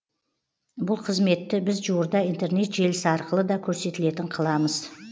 бұл қызметті біз жуырда интернет желісі арқылы да көрсетілетін қыламыз